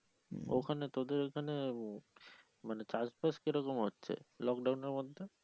ওখানে তোদের ওখানে মানে কাজ টাজ কিরকম হচ্ছে লকডাউনের মধ্যে